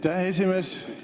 Aitäh, esimees!